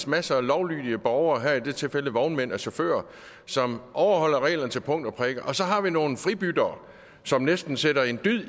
masser af lovlydige borgere i det her tilfælde vognmænd og chauffører som overholder reglerne til punkt og prikke og så har vi nogle fribyttere som næsten sætter en dyd i